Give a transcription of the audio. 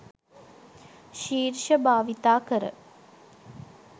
ශිර්ෂ භාවිත කර